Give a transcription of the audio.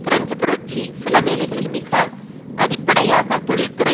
French புரட்சி சிலவேளைகளில் மிக அடிப்படையாக தொழிற்துறை